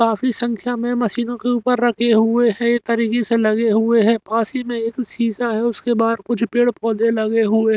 काफी संख्या में मशीनों के ऊपर रखे हुए हैं एक तरीके से लगे हुए हैं पास ही में एक शीशा है उसके बाहर कुछ पेड़ पौधे लगे हुए --